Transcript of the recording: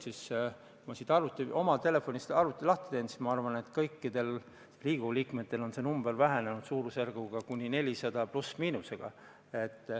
Kui ma siit oma telefonist oma seisu vaatan, siis arvan, et kõikidel Riigikogu liikmetel on see number vähenenud.